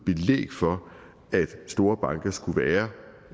belæg for at store banker skulle være